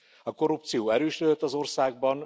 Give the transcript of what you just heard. A korrupció erősödött az országban.